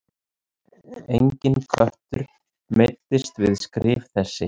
Enginn köttur meiddist við skrif þessi.